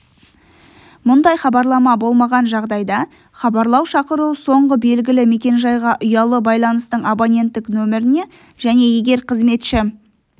мұндай хабарлама болмаған жағдайда хабарлау шақыру соңғы белгілі мекенжайға ұялы байланыстың абоненттік нөміріне және егер қызметші